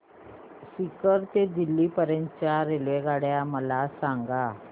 सीकर ते दिल्ली पर्यंत च्या रेल्वेगाड्या मला सांगा